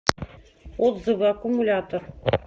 отзывы аккумулятор